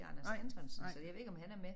Anders Antonsen så jeg ved ikke om han er med